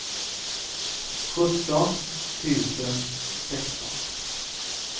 sjutton tusen sexton